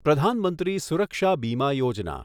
પ્રધાન મંત્રી સુરક્ષા બીમા યોજના